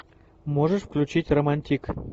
можешь включить романтик